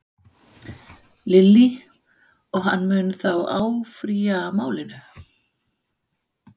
Lillý: Og hann mun þá áfrýja málinu?